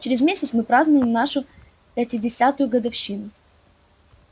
через месяц мы празднуем нашу пятидесятую годовщину